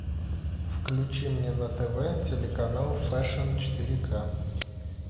включи мне на тв телеканал фэшн четыре к